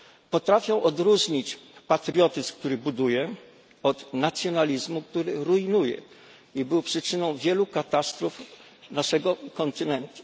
Potrafią odróżnić patriotyzm, który buduje, od nacjonalizmu, który rujnuje i był przyczyną wielu katastrof naszego kontynentu.